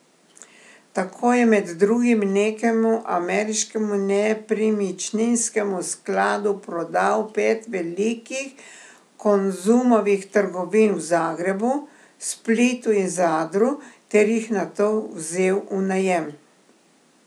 Tako je med drugim nekemu ameriškemu nepremičninskemu skladu prodal pet velikih Konzumovih trgovin v Zagrebu, Splitu in Zadru ter jih nato vzel v najem.